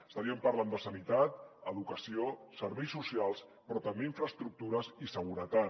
estaríem parlant de sanitat educació serveis socials però també infraestructures i seguretat